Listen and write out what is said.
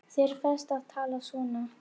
Þér ferst að tala svona!